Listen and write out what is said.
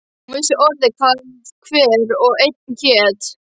Hún vissi orðið hvað hver og einn hét.